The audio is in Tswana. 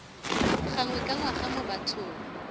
gangwe ka ngwaga mo bathong